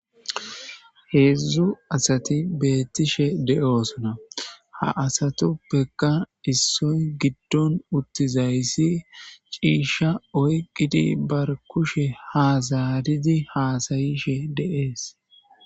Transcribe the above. heedzdzu asati beettishe de7oosona ha asatuppeka issoy giddon uttizayssi ciisha oyqqidi bar kushe haazaridi haasayishe de7es